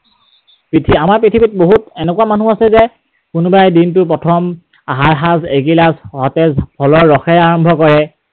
আমাৰ পৃথিৱীত বহুত এনেকুৱা মানুহ আছে যে কোনোবাই দিনটো প্ৰথম আহাৰ সাঁজ এগিলাচ সঁতেজ ফলৰ ৰসেৰে আৰম্ভ কৰে।